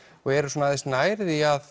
og eru svona aðeins nær því að